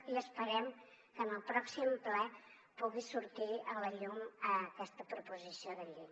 i esperem que en el pròxim ple pugui sortir a la llum aquesta proposició de llei